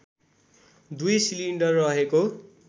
दुई सिलिन्डर रहेको